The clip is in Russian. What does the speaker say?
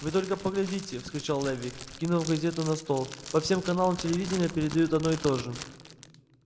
вы только поглядите вскричал леви кинув газету на стол по всем каналам телевидения передают одно и то же